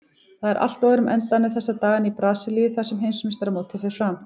Það er allt á öðrum endanum þessa dagana í Brasilíu þar sem heimsmeistaramótið fer fram.